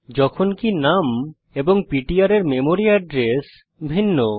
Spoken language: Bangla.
যখনকি নুম এবং পিটিআর এর মেমরি এড্রেস ভিন্ন